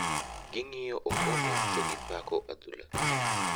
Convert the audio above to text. Gi ng'iyo okombe to gipako adhula